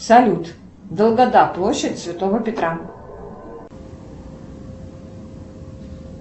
салют долгота площадь святого петра